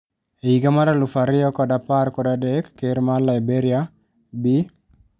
E higa mar alufu ariyo kod apar kod adek Ker ma Lberia ,Bi.